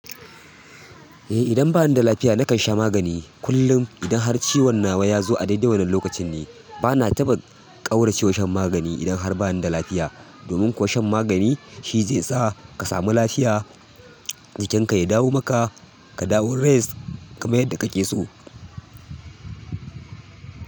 Eh idan ba ni da lafiya nakan sha magani kullum idan har ciwon nawa ya zo a dai-dai wanin lokacin ne. Bana taɓa ƙauracewa shan magani idan har ba ni da lafiya. Domin kuwa shan magani shi zai sa ka samu lafiya, jikinka ya dawo maka, ka dawo rest kamar yadda ka ke so.